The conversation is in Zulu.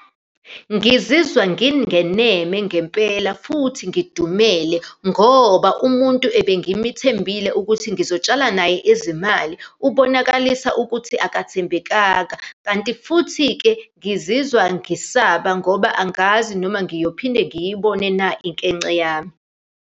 Ngizizwa ngingeneme ngempela, futhi ngidumele ngoba umuntu ebengimithembile ukuthi ngizotshala naye izimali, ubonakalisa ukuthi akathembekanga. Kanti futhi-ke ngizizwa ngisaba ngoba angazi noma ngiyophinde ngiyibone na inkence yami.